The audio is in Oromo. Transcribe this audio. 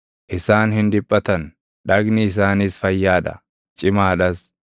Isaan hin dhiphatan; dhagni isaaniis fayyaa dha; cimaa dhas.